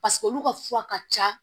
Paseke olu ka fura ka ca